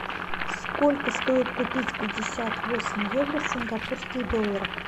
сколько стоит купить пятьдесят восемь евро в сингапурских долларах